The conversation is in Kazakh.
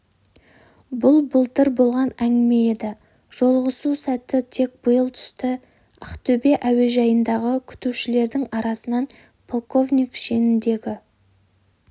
бұл былтыр болған әңгіме еді жолығысу сәті тек биыл түсті ақтөбе әуежайындағы күтушілердің арасынан полковник шеніндегі